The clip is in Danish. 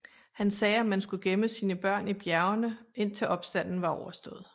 Han sagde at man skulle gemme sine børn i bjergene indtil opstanden var overstået